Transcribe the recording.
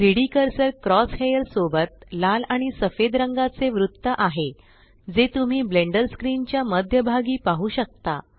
3डी cursor crosshair सोबत लाल आणि सफेद रंगाचे वृत्त आहे जे तुम्ही ब्लेण्डर स्क्रीन च्या मध्य भागी पाहु शकता